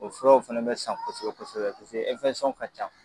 O furaw fɛnɛ bɛ san kosɛ bɛsɛbɛ kosɛbɛ paseke ɛnfɛsɔn ka can.